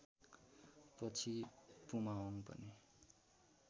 पछि पुमाहोङ पनि